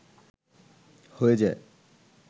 হয়ে যায়